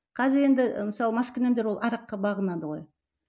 қазір енді ы мысалы маскүнемдер ол араққа бағынады ғой